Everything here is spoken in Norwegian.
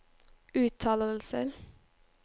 uttalelser